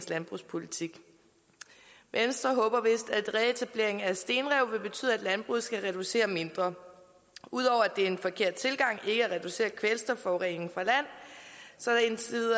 landbrugspolitik venstre håber vist reetableringen af stenrev vil betyde at landbruget skal reducere mindre ud over at det er en forkert tilgang ikke at reducere kvælstofforureningen fra land